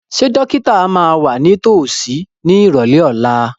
Ṣé dókítà máa wà ní tòsí ní ìrọ̀lẹ́ ọ̀la?